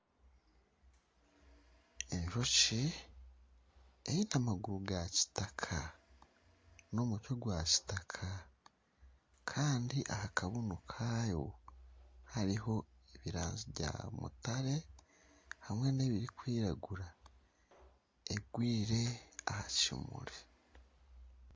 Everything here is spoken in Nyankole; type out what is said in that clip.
Enjoki eine amaguru ga kitaka n'omutwe gwa kitaka kandi ahakabunu kayo haruho ebirangi bya mutare hamwe n'ebirukwiragura egwire aha kimuri